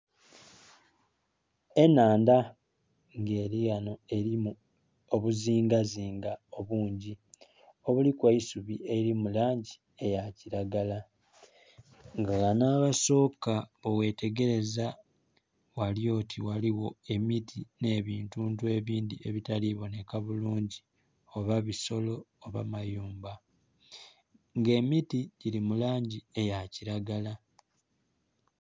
Ennhandha nga elighanho elimu obuzingazinga obungi obuliku eisubi elili mu langi eya kilagala. Nga ghanho aghasooka bweghetegeleza ghali oti ghaligho emiti nh'ebintuntu ebindhi ebitali bonheka bulungi, oba bisolo oba mayumba. Nga emiti gili mu langi eya kilagala.